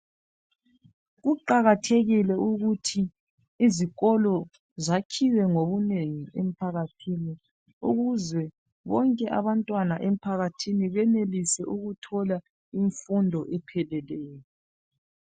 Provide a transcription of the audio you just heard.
Kuqakathekile ukuthi izikolo zakhiwe ngobunengi emphakathini ukuze bonke abantwana emphakathini benelise ukuthola imfundo epheleleyo